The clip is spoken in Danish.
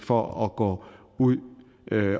for at gå ud